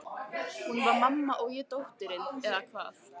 Hún var mamman og ég dóttirin, eða hvað?